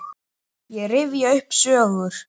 Ég rifja upp sögur.